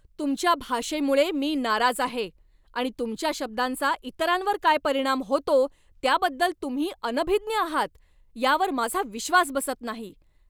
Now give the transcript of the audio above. तुमच्या भाषेमुळं मी नाराज आहे आणि तुमच्या शब्दांचा इतरांवर काय परिणाम होतो त्याबद्दल तुम्ही अनभिज्ञ आहात यावर माझा विश्वास बसत नाही.